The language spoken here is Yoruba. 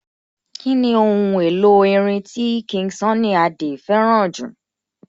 Kíni ohun èlò orin tí King Sunny Adé fẹ́ràn jù?